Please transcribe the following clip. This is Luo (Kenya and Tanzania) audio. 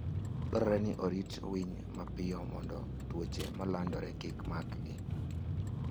Dwarore ni orit winy mapiyo mondo tuoche malandore kik makgi.